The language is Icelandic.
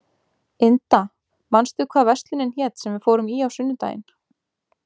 Inda, manstu hvað verslunin hét sem við fórum í á sunnudaginn?